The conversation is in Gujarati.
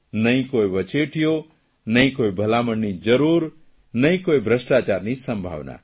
નહીં કોઇ વચેટિયો નહીં કોઇ ભલામણની જરૂર નહીં કોઇ ભ્રષ્ટાચારની સંભાવના